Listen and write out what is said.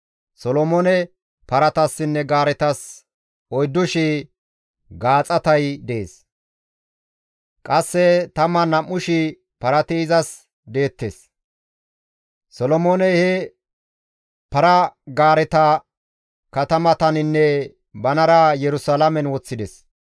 Solomoone paratassinne gaaretas 4,000 gaaxatay dees; qasse 12,000 parati izas deettes. Solomooney he para-gaareta katamataninne banara Yerusalaamen woththides.